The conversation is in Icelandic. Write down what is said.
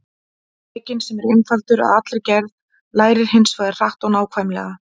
Drekinn, sem er einfaldur að allri gerð, lærir hins vegar hratt og nákvæmlega.